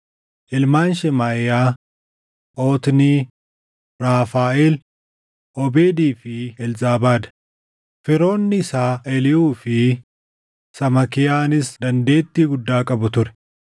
Ilmaan Shemaaʼiyaa: Otnii, Raafaaʼeel, Oobeedii fi Elzaabaad; firoonni isaa Eliihuu fi Samaakiyaanis dandeettii guddaa qabu ture.